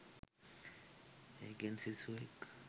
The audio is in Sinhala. ඒකෙන් සිසුවෙක්